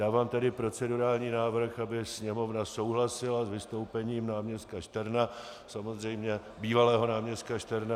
Dávám tedy procedurální návrh, aby Sněmovna souhlasila s vystoupením náměstka Šterna, samozřejmě bývalého náměstka Šterna.